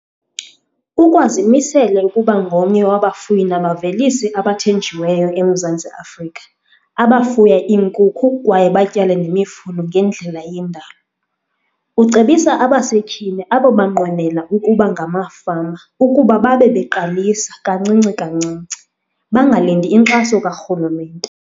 Ukwazimisele ukuba ngomnye wabafuyi nabavelisi abathenjiweyo eMzantsi Afrika abafuya iinkukhu kwaye batyale nemifuno ngendlela iyendalo. Ucebisa abasetyhini abo banqwenela ukuba ngamafama ukuba babebeqalisa kancinci kancinci, bangalindi inkxaso karhulumente.